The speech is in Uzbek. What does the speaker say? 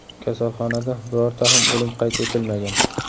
Kasalxonada birorta ham o‘lim qayd etilmagan.